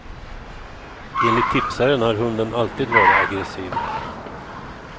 Enligt tipsaren har hunden alltid varit aggressiv.